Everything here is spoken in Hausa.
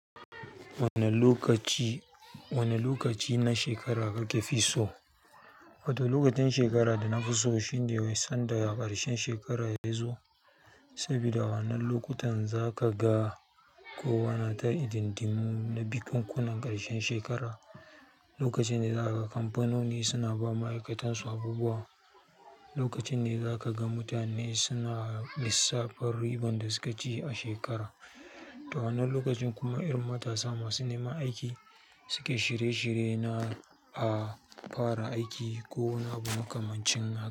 Wane lokaci, wane lokaci na shekara kake fi so? Wato lokacin shekara da nafi so shine dai sanda ƙarshen shekara yazo, saboda wannan lokutan zaka ga kowa na ta idindinu na bikunkunan ƙarshen shekara. Lokacin ne zaka ga kamfanoni suna ba ma'aikatan su abubuwa. Lokacin ne zaka ga mutane suna lissafin riban da suka ci a shekara. To wannan lokacin kuma irin matasa masu neman aiki suke shirye-shirye na a fara aiki ko wani abu makamancin haka.